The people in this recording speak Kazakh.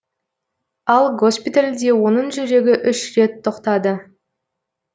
ал госпитальде оның жүрегі үш рет тоқтады